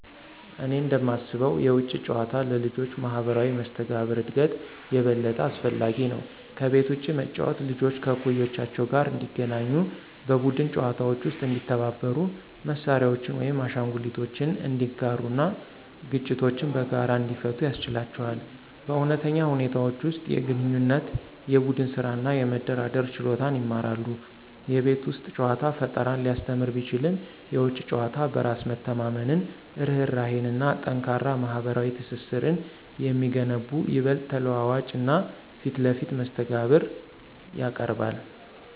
እኔ እንደማስበው የውጪ ጨዋታ ለልጆች ማህበራዊ መስተጋብር እድገት የበለጠ አስፈላጊ ነው። ከቤት ውጭ መጫወት ልጆች ከእኩዮቻቸው ጋር እንዲገናኙ, በቡድን ጨዋታዎች ውስጥ እንዲተባበሩ, መሳሪያዎችን ወይም አሻንጉሊቶችን እንዲጋሩ እና ግጭቶችን በጋራ እንዲፈቱ ያስችላቸዋል. በእውነተኛ ሁኔታዎች ውስጥ የግንኙነት፣ የቡድን ስራ እና የመደራደር ችሎታን ይማራሉ። የቤት ውስጥ ጨዋታ ፈጠራን ሊያስተምር ቢችልም፣ የውጪ ጨዋታ በራስ መተማመንን፣ ርህራሄን እና ጠንካራ ማህበራዊ ትስስርን የሚገነቡ ይበልጥ ተለዋዋጭ እና ፊት ለፊት መስተጋብር ያቀርባል።